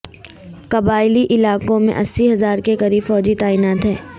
قبائلی علاقوں میں اسی ہزار کےقریب فوجی تعینات ہیں